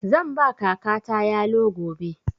Zan ba kakata yalo gobe.